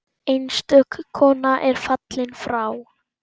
Einstök kona er fallin frá.